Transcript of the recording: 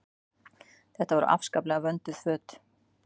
Þetta voru afskaplega vönduð föt.